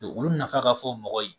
olu nafa ka fɔ mɔgɔ ye